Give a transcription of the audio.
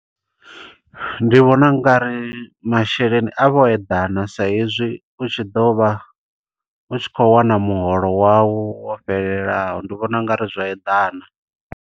Ndi vhona ungari masheleni avho o eḓana, sa hezwi u tshi ḓo vha, u tshi khou wana muholo wau wo fhelelaho. Ndi vhona ungari zwo eḓana.